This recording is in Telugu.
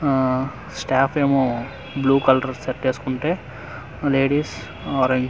ఆఆ స్టాఫ్ ఏమో బ్లూ కలర్ షర్టు వేసుకుంటే లేడీస్ ఆరంజ్ వేసుకు--